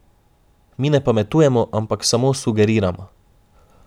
Mi ne pametujemo, ampak samo sugeriramo.